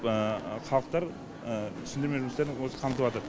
халықтар түсіндірме жұмыстарын өзі қамтыватыр